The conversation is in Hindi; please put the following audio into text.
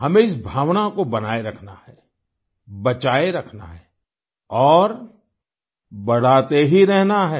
हमें इस भावना को बनाये रखना है बचाए रखना है और बढ़ाते ही रहना है